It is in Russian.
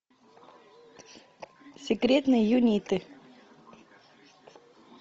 секретные юниты